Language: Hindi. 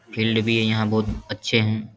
फील्ड भी है यहां बहुत अच्छे हैं।